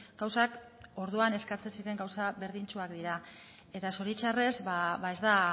gauzak orduan eskatzen ziren gauza berdintsuak dira eta zoritzarrez ez da